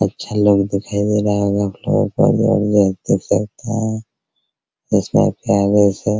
अच्छा लोग दिखाई दे रहा होगा आपलोगो को